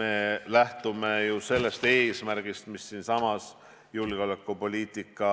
Me lähtume ju sellest eesmärgist, mis siinsamas julgeolekupoliitika